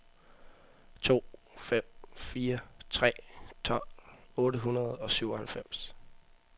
to fem fire tre tolv otte hundrede og syvoghalvfems